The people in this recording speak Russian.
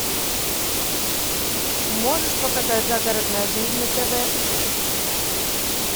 можешь показать загородная жизнь на тв